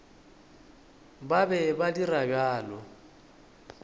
ba be ba dira bjalo